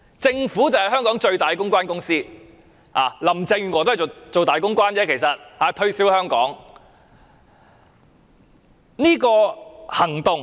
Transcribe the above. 政府便是香港最大的公關公司，林鄭月娥其實只是個大公關，推銷香港。